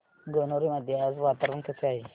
गणोरे मध्ये आज वातावरण कसे आहे